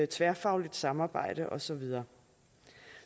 tværfagligt samarbejde og så videre